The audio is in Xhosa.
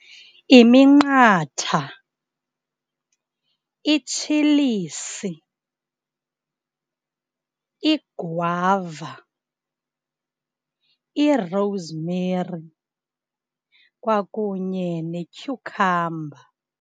Iminqatha, itshilisi, igwava, irowuzimeri kwakunye nethyukhamba.